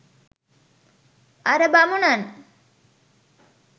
අර බමුණන්